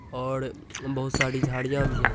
और बहुत सारी झाड़ियाँ भी है।